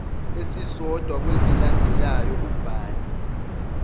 esisodwa kwezilandelayo ubhale